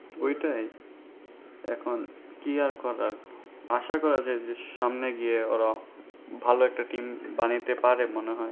ঐটাই এখন কি আর করার আশা করা যাই যে সামনে গিয়ে ওরা ভালো একটা team বানাইতে পারে মনে হয়